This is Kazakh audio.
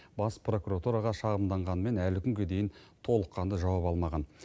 бас прокуратураға шағымданғанымен әлі күнге дейін толыққанды жауап алмаған